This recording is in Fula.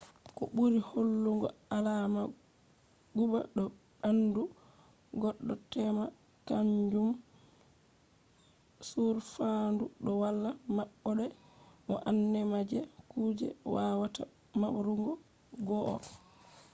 ko ɓuri hollugo alama guba do ɓaandu goɗɗo tema kaanjum on to faandu do wala maɓɓode bo nane ma je kuje wawata mbarugo goɗɗo on